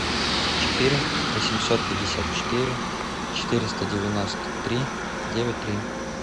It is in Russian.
четыре восемьсот пятьдесят четыре четыреста девяносто три девять три